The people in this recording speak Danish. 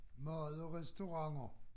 Mad og restauranter